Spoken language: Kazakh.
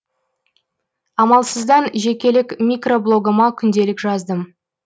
амалсыздан жекелік микро блогыма күнделік жаздым